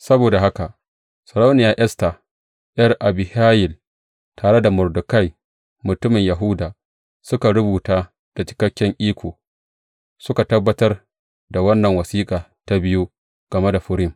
Saboda haka Sarauniya Esta, ’yar Abihayil, tare da Mordekai mutumin Yahuda, suka rubuta da cikakken iko, suka tabbatar da wannan wasiƙa ta biyu game da Furim.